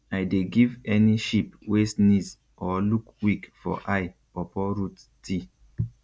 i dey give any sheep wey sneeze or look weak for eye pawpaw root tea